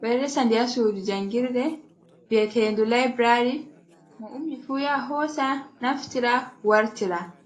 ɓe ɗo resa nde ha sudu jangirde biatende laibrary, mo ummi fu ya hosa naftira wartira.